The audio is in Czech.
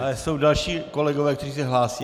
Ale jsou další kolegové, kteří se hlásí.